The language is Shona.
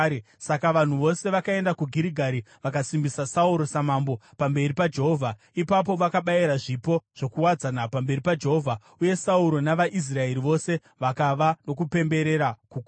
Saka vanhu vose vakaenda kuGirigari vakasimbisa Sauro samambo pamberi paJehovha. Ipapo vakabayira zvipo zvokuwadzana pamberi paJehovha, uye Sauro navaIsraeri vose vakava nokupemberera kukuru.